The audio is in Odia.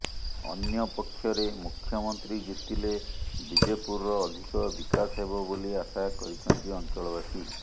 ଅନ୍ୟପକ୍ଷରେ ମୁଖ୍ୟମନ୍ତ୍ରୀ ଜିତିଲେ ବିଜେପୁରର ଅଧିକ ବିକାଶ ହେବ ବୋଲି ଆଶା କରିଛନ୍ତି ଅଞ୍ଚଳବାସୀ